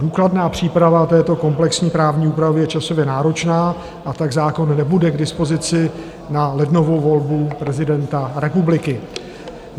Důkladná příprava této komplexní právní úpravy je časově náročná, a tak zákon nebude k dispozici na lednovou volbu prezidenta republiky.